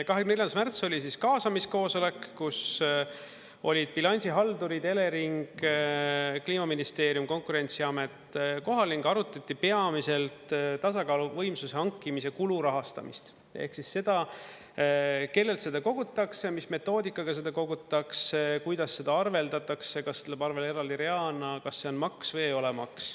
24. märts oli kaasamiskoosolek, kus olid bilansihaldurid, Elering, Kliimaministeerium, Konkurentsiamet kohal ning arutati peamiselt tasakaaluvõimsuse hankimise kulu rahastamist ehk siis seda, kellelt seda kogutakse, mis metoodikaga seda kogutakse, kuidas seda arveldatakse, kas see läheb arvel eraldi reana, kas see on maks või ei ole maks.